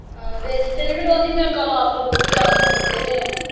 ਹਾਂ ਵੇਚ ਦਿਤੇ ਨੇ ਫੇਰ ਓਹਦੀ ਮੈਂ ਵੀ ਲਾਉਣੀ ਆ ਮੁੜਕੇ ਤੇ।